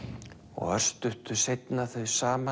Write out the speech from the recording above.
og örstuttu seinna þau saman